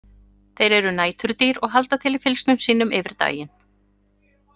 Þeir eru næturdýr og halda til í fylgsnum sínum yfir daginn.